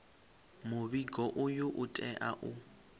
muvhigo uyu u tea u